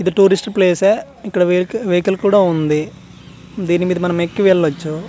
ఇది tourist place యే ఇక్కడ వెహిక వెహికల్ కూడా ఉంది దీని మీద మనం ఎక్కి వెళ్ళచ్చు .